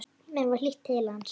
Mér var hlýtt til hans.